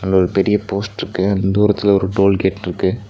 இங்க ஒரு பெரிய போஸ்ட்ருக்கு தூரத்துல ஒரு டோல்கேட்ருக்கு .